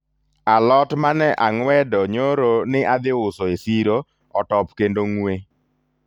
alot mane ang'wedo nyoro ni adhi uso e siro otop kendo ng'we